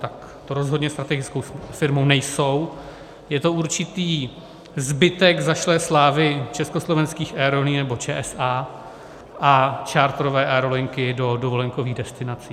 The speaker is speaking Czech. Tak to rozhodně strategickou firmou nejsou, je to určitý zbytek zašlé slávy Československých aerolinií, nebo ČSA, a charterové aerolinky do dovolenkových destinací.